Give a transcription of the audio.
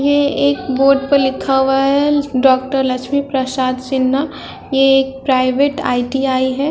ये एक बोर्ड पे लिखा हुआ है डॉक्टर लक्ष्मी प्रासाद सिन्हा ये एक प्राइवेट आई.टी.आई. है।